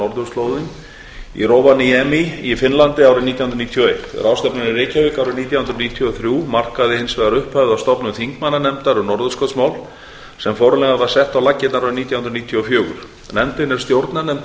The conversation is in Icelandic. norðurslóðum í rovaniemi í finnlandi árið nítján hundruð níutíu og eitt ráðstefnan í reykjavík árið nítján hundruð níutíu og þrjú markaði hins vegar upphafið að stofnun þingmannanefndar um norðurskautsmál sem formlega var sett á laggirnar árið nítján hundruð níutíu og fjögur nefndin er stjórnarnefnd þingmannaráðstefnu